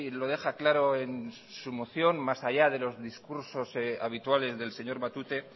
lo deja claro en su moción más allá de los discursos habituales del señor matute